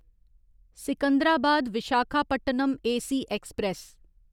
Secunderabad Visakhapatnam AC express